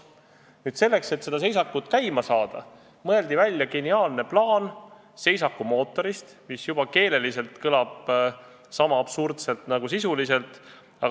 Nüüd selleks, et seda seisakut käima saada, mõeldi geniaalse plaanina välja seisakumootor, mis kõlab juba keeleliselt sama absurdselt kui sisuliselt.